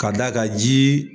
Ka d'a kan ji.